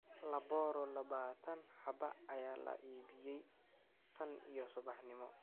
Laboro labaatan habaa ayaa la iibiyey tan iyo subaxnimo.